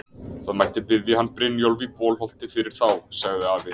Það mætti biðja hann Brynjólf í Bolholti fyrir þá, sagði afi.